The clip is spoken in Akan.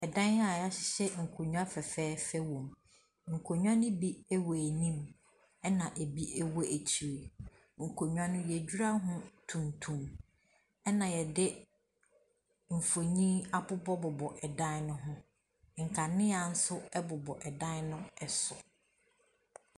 ℇdan a wɔahyehyɛ nkonnwa fɛɛfɛɛfɛ wom. Nkonnwa no bi wɔ anim ɛna ebi wɔ akyire. Nkonnwa no yɛadura ho tuntum ɛna yɛde mfonin abobɔbobɔ ɛdan no ho. Nkannea nso bobɔ ɛdan no so.